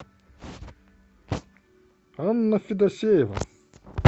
анна федосеева